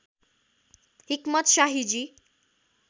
हिक्मत शाहीजी